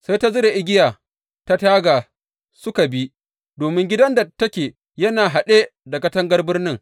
Sai ta zura igiya ta taga suka bi, domin gidan da take yana haɗe da katangar birnin.